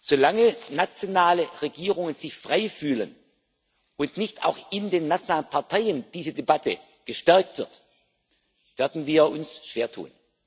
Solange nationale Regierungen sich frei fühlen und nicht auch in den nationalen Parteien diese Debatte gestärkt wird, werden wir uns schwer